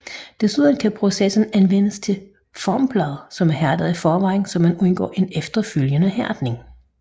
Desuden kan processen anvendes til formplader som er hærdet i forvejen så man undgår en efterfølgende hærdning